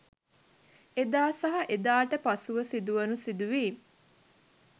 එදා සහ එදාට පසුව සිදුවුනු සිදුවීම්